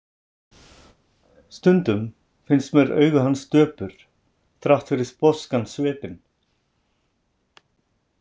Stundum finnst mér augu hans döpur, þrátt fyrir sposkan svipinn.